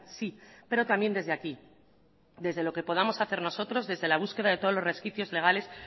sí pero también desde aquí desde lo que podamos hacer nosotros desde la búsqueda de todos los resquicios legales